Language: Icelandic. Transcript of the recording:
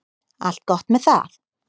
Allt gott með það.